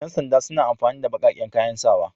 Yan sanda suna amfani da baƙaƙen kayan sawa.